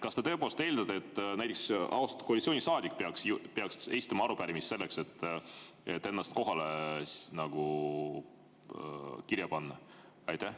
Kas te tõepoolest eeldate, et näiteks austatud koalitsioonisaadik peaks esitama arupärimise selleks, et ennast kohale kirja panna?